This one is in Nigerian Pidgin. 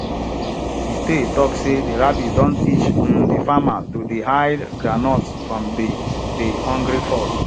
de tale talk sey de rabbit don teach um de farmer to dey hide groundnuts from de de hungry fox